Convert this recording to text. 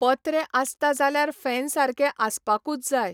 पत्रें आसता जाल्यार फॅन सारके आसपाकूच जाय.